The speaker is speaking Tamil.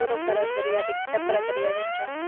தூரப்பார்வை தெரியாது கிட்டப்பார்வை தெரியாதுன்றாங்க